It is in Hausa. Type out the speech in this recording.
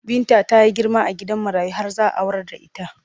Binta ta girma a gidan marayu har za a aurar da ita.